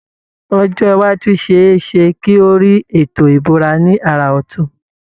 Ọjọ́ iwájú ṣe é ṣe kí ó rí Ètò ìbúra ní àrà ọtun